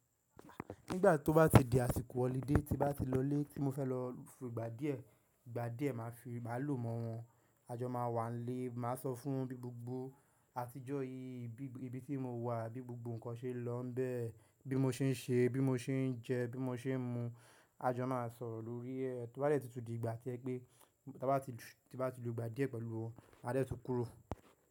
Nígbà tó bá ti di àsìkò holiday tí bá ti lọ lé tí mo fẹ́ lọ fún ìgbà díẹ̀, ìgbà díẹ̀ má fi má lò mọ́ wọn. A jọ máa wà nílé, màá sọ fún un bí gbogbo àtijọ́ yí, bí ibi tí mo wà, bí gbogbo ǹkan ṣe lọ bẹ́ẹ̀, bí mo ṣe ń ṣe, bí mo ṣe ń jẹ, bí mo ṣe ń mu. A jọ máa sọ̀rọ̀ lórí ẹ. Tó bá dẹ́ ti tu di ìgbà tí ẹ pé tí bá ti lu ìgbà díẹ̀ pẹ̀lú ọ, a dẹ́ tún kúrò.